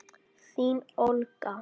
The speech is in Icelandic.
Þín Olga.